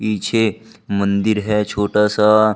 पीछे मंदिर है छोटा सा।